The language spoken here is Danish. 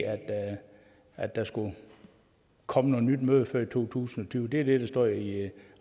at der skulle komme noget nyt møde før i to tusind og tyve det er det der står i